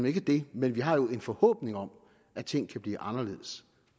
ikke det men vi har jo en forhåbning om at ting kan blive anderledes